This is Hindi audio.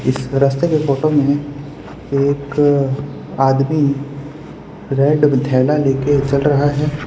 रास्ते के फोटो में एक आदमी रेड थेला ले के चल रहा है।